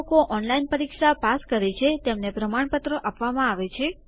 જે લોકો ઓનલાઈન પરીક્ષા પાસ કરે છે તેમને પ્રમાણપત્રો આપવામાં આવે છે